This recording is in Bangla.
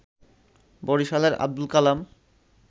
বরিশালের আব্দুল কালাম